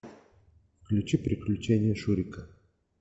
включи приключения шурика